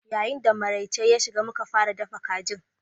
Yayin da maraice ya shiga, mu kan fara dafa kajin.